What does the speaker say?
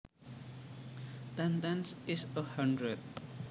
Ten tens is a hundred